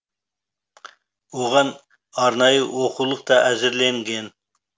оған арнайы оқулық та әзірленген